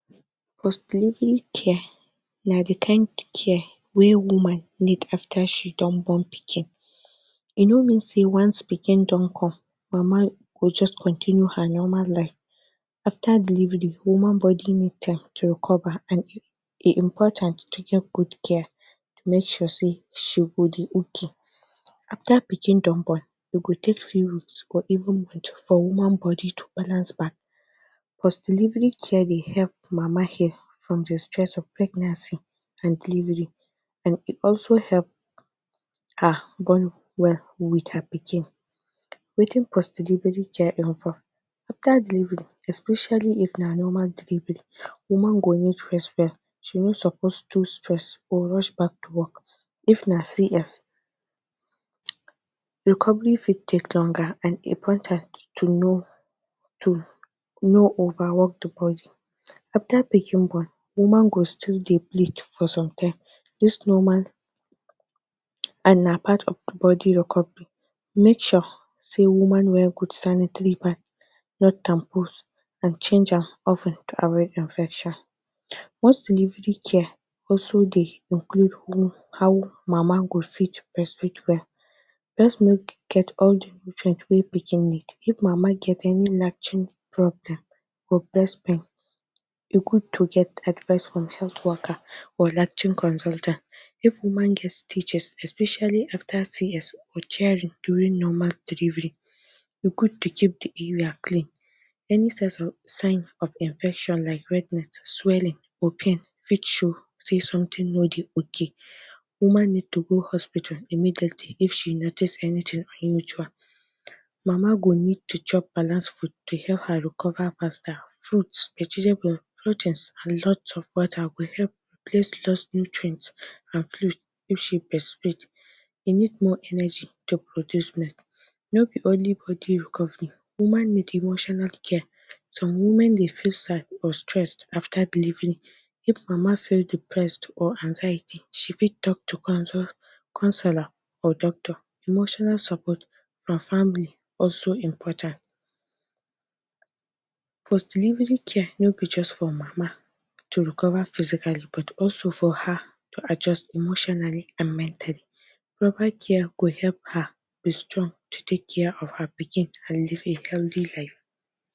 Transcription - Post Delivery Care Post delivery care na the care wey woman need after she born pikin. E no mean say once pikin don come mama go continue her normal life. After delivery woman body need time to recover. E important to get good care to make sure she dey okay. After pikin don born, e go take few weeks or even months for woman body to balance back. Post delivery care dey help mama heal from the stress of pregnancy and delivery and e also help her bond wel with her pikin. Wetin post delivery care involve? After delivery, especially if na normal delivery woman go need rest well, she no suppose to stress or rush back to work. If na CS, recovery fit take longer and e important to no over work the body. After pikin born, woman go still dey bleed for some time dis normal and na part of the body recovery. Make sure say woman wear good sanitary pads not tampons and change am of ten to avoid infection. Post delivery care also dey include how mama go fit breastfeed well. Breast milk get all nutrients wey pikin need. If mama get any latching problem or breast milk, e good to get advice from health worker or latching consultant. If woman get stitches especially afta CS or tearing during normal delivery, e good to keep the area clean. Any signs of infection like redness, swelling, pain fit show say something no dey okay. Woman need to go hospital immediately if she notice anything unusual. Mama go need to chop balance food to help her recover faster. Fruits, vegetables, proteins and lots of water will help her replace the lost nutrients and fluid. If she dey breastfeed she need more energy to produce milk. No be only body recovery woman need — emotional care dey important too. Some women dey feel sad or stress after delivery. If mama feel depressed or anxiety she fit talk to counselor or doctor. Emotional support from family is also important. Post delivery care no be just for mama to recover physically but also for her to adjust emotionally and mentally. Proper care go help her to dey strong to take care of her pikin and live a healthy life.